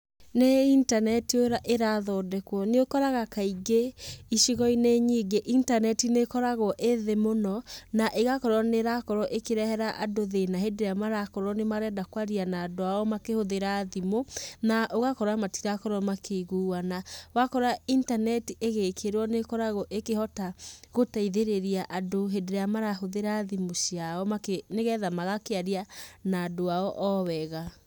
Nĩ internet ĩrathondekwo. Nĩũkoraga kaingĩ icigo-inĩ nyingĩ, internet nĩĩkoragũo ĩ thĩ mũno, na ĩgakorwo nĩrakorwo ĩkĩrehera andũ thĩna hĩndĩ ĩrĩa marakorwo nĩmarenda kwaria na andũ ao makĩhũthĩra thimũ, na ũgakora matirakorwo makĩiguana. Wakora internet ĩgĩkĩrwo nĩĩkoragũo ĩkĩhota, gũteithĩrĩria andũ hĩndĩ ĩrĩa marahũthĩra thimũ ciao makĩ nĩgetha magakĩaria na andũ ao o wega.